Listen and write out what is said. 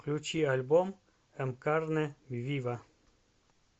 включи альбом эм карне вива